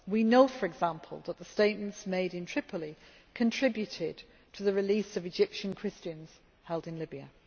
We know, for example, that the statements made in Tripoli contributed to the release of Egyptian Christians held in Libya.